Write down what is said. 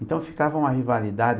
Então ficava uma rivalidade.